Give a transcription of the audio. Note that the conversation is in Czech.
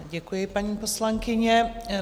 Děkuji, paní poslankyně.